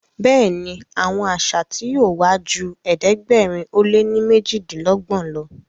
Béèni Àwọn àṣà tí yóò wá jù ẹ̀ẹ́dẹ̀gbẹ̀rin o lẹ ní mejidinlogbon ló.